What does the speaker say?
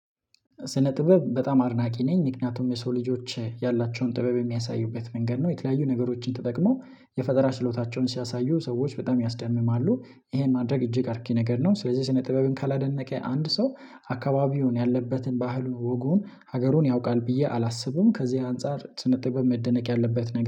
ስነ ጥበብ በጣም አድናቂ ነኝ ምክንያቱም የሰው ልጆች ያላቸውን ጥበብ የሚያሳዩበት መንገድ ነው። የተለያዩ ነገሮችን ተጠቅሞ የፈጠራ ሽሎታቸውን ሲያሳዩ ሰዎች በጣም ያስደምማሉ። ይሄን ማድረግ እጅግ አርኪ ነገር ነው። ስለዚህ ስነ ጥበብን ካላደነቀ አንድ ሰው አካባቢውን ያለበትን ባህሉን ወጉን ሀገሩን ያውቃል ብዬ አላስብም። ከዚህ አንፃር ሰነ ጥበብ መደነቅ ያለበት